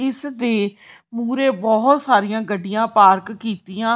ਇਸ ਦੇ ਮੂਰੇ ਬਹੁਤ ਸਾਰੀਆਂ ਗੱਡੀਆਂ ਪਾਰਕ ਕੀਤੀਆਂ--